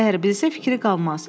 Əgər bilsə fikri qalmaz.